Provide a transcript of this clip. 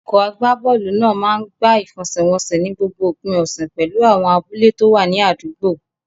Ikọ̀ agbábọ́ọ̀lù náà máa ń gbá ìfẹsẹ̀wọnsẹ̀ ní gbogbo òpin ọ̀sẹ̀ pẹ̀lú àwọn abúlé tó wà ní àdúgbò.